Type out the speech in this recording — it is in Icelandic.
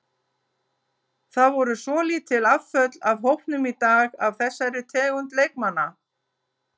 Það voru svolítil afföll af hópnum í dag af þessari tegund leikmanna.